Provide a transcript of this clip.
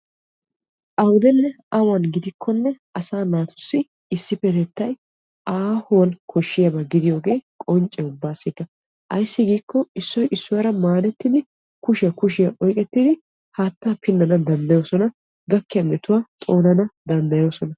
Awuddenne awan gidikkonne asaa naatussi issippetettay aahuwan koshiyaaba gidiyooge qoncce ubbaassikka ayssi giikko issoy issuwara maadettiddi kushiya kushiyara oyqqettiddi haatta pinanna danddayosonna gakkiya metuwa xoonana danddayosonna.